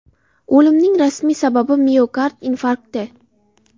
O‘limning rasmiy sababi miokard infarkti.